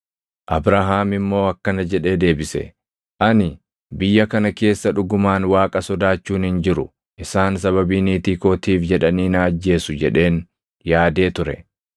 Abrahaam immoo akkana jedhee deebise; “Ani, ‘Biyya kana keessa dhugumaan Waaqa sodaachuun hin jiru; isaan sababii niitii kootiif jedhanii na ajjeesu’ jedheen yaadee ture.